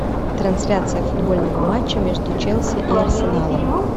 трансляция футбольного матча между челси и арсеналом